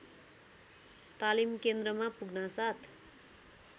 तालिम केन्द्रमा पुग्नासाथ